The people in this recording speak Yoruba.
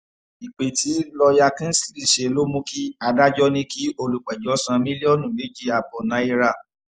ìpè tí lọ́ọ̀yà kingsley ṣe ló mú kí adájọ́ ní kí olùpẹ̀jọ́ san mílọ́ọ̀nù méjì ààbọ̀ náírà